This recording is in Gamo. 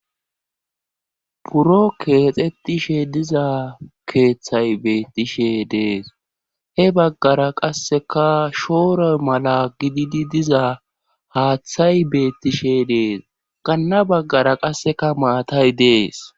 buro keexetishe diza keeththay beettishe dees he baggara qasseka shooroy mala gididi diza haaththay beettishe dees ganna baggara qasseka maatay dees